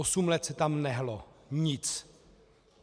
Osm let se tam nehnulo nic!